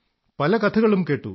പല കഥകളും കേട്ടു